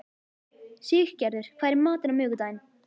Siggerður, hvað er í matinn á miðvikudaginn?